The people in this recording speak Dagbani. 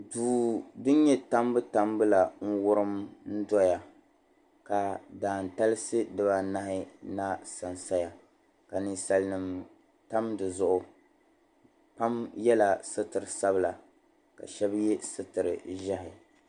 Doo din nyɛ tambutambu la n-wurim n-dɔya ka daantalisi dibaanahi na sansaya ka ninsalinima tam di zuɣu. Pam yɛla sitir' sabila ka shɛba ye sitir' ʒiɛhi.